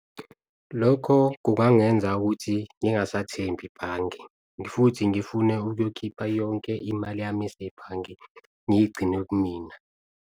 Lokho kungangenza ukuthi ngingasa thembi bhange futhi ngifune ukuyokhipha yonke imali yami esebhange ngiyigcine kumina.